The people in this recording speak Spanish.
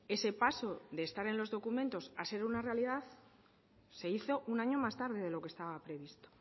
ese paso de estar en los documentos a ser una realidad se hizo un año más tarde de lo que estaba previsto